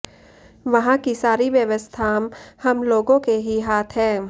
वहां की सारी व्यवस्थां हम लोगों के ही हाथ है